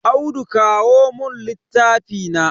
Audu kawo mun littafi na.